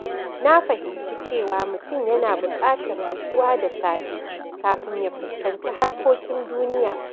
Na fahimci cewa mutum yana buƙatar nutsuwa da safe kafin ya fuskanci harkokin duniya.